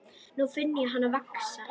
Nú finn ég hana vaxa.